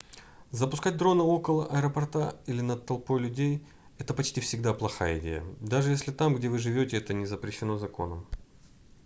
запускать дрона около аэропорта или над толпой людей это почти всегда плохая идея даже если там где вы живете это не запрещено законом